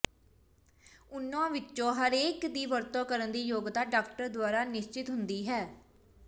ਉਨ੍ਹਾਂ ਵਿੱਚੋਂ ਹਰੇਕ ਦੀ ਵਰਤੋਂ ਕਰਨ ਦੀ ਯੋਗਤਾ ਡਾਕਟਰ ਦੁਆਰਾ ਨਿਸ਼ਚਿਤ ਹੁੰਦੀ ਹੈ